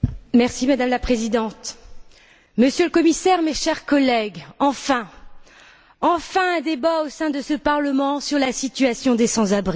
Madame la Présidente, Monsieur le Commissaire, chers collègues, enfin un débat au sein de ce Parlement sur la situation des sans abri!